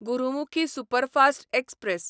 Gurmukhi superfast express